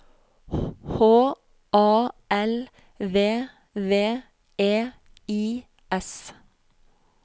H A L V V E I S